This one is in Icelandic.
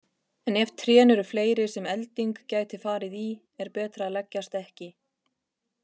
En ef trén eru fleiri sem elding gæti farið í er betra að leggjast ekki.